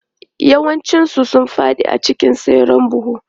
Yawancinsu sun fadi a lokacin tseren buhu.